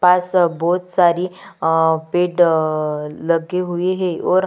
पास बहुत सारी पेड़ लगे हुए हैं और --